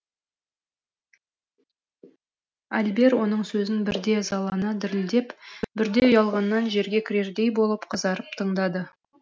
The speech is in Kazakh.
альбер оның сөзін бірде ызалана дірілдеп бірде ұялғаннан жерге кірердей болып қызарып тыңдады